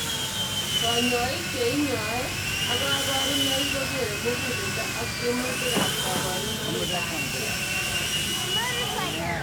Kanyaik che inyai ak kabarunaik kokere mukulelendo ak temuitik ab kabarunaika chik.